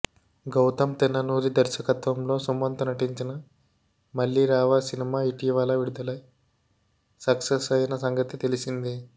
గౌతమ్ తిన్ననురి దర్శకత్వంలో సుమంత్ నటించిన మళ్ళిరావా సినిమా ఇటీవల విడుదలై సక్సెస్ అయిన సంగతి తెలిసిందే